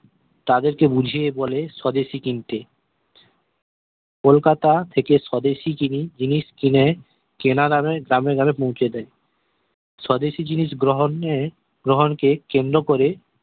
তাদের কে বুঝিয়ে বলে স্বদেশি কিনতে কোলকাতা থেকে স্বদেশি জিনিস জিনিস কিনে কেনা দামে গ্রামে গ্রামে পৌঁছে দেয় স্বদেশি জিনিস গ্রহনে গ্রহন কে কেন্দ্র করে